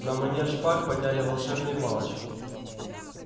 на манер шпаг подняли волшебные палочки